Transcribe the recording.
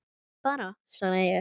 Bara svaraði ég.